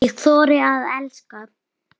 Ég þorði að elska.